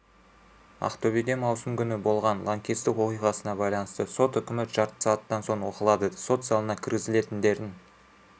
ақтөбеде маусым күні болған лаңкестік оқиғасына байланысты сот үкімі жарты сағаттан соң оқылады сот залына кіргізілетіндердің